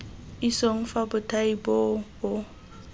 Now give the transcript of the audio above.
isong fa bothati boo bo